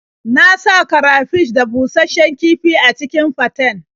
Na sa karafish da bushasshen kifi a cikin faten.